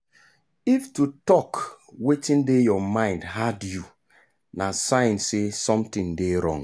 if to talk wetin dey your mind hard you na sign say something dey wrong.